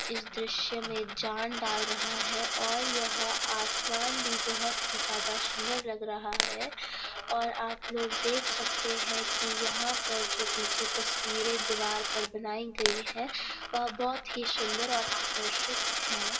इस दृश्य में जान डाल रहा है और यह आसमान भी बहुत ही ज्यादा सुंदर लग रहा है और आप लोग देख सकते हैं कि यहां पर जो पीछे तस्वीरें दीवार पर बनाई गई है वह बहुत ही सुंदर और आकर्षित हैं।